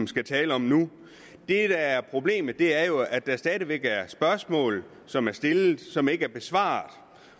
skal tale om nu det der er problemet er jo at der stadig væk er spørgsmål som er stillet men som ikke er besvaret